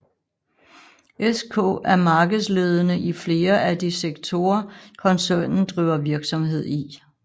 SK er markedsledende i flere af de sektorer koncernen driver virksomhed i